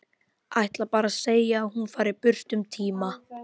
Ætlar bara að segja að hún fari burt um tíma.